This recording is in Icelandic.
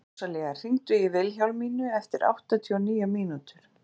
Rósalía, hringdu í Vilhjálmínu eftir áttatíu og níu mínútur.